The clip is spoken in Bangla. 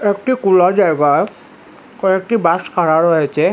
একটি কুলা জায়গা কয়েকটি বাস খাড়া রয়েচে।